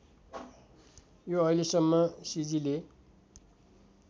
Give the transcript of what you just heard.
यो अहिलेसम्म सिजीले